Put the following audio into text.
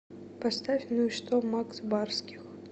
поставь ну и что макс барских